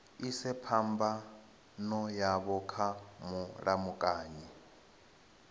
ise phambano yavho kha mulamukanyi